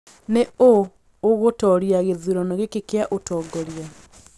Nĩ ũ ũgũtooria gĩthurano gĩkĩ kĩa ũtongoria